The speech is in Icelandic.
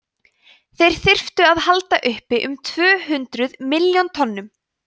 þeir þyrftu að halda uppi um tvö hundruð milljón tonnum